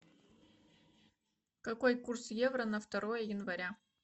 какой курс евро на второе января